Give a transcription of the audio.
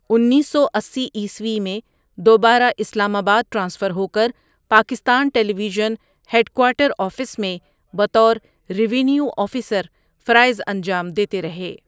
اینس سو اسی عیسوی میں دوبارہ اسلام آباد ٹرانسفر ہو کرپاکستان television head quarter office میں بطور ریونیو آفیسر فرائض انجام دیتے رہے ۔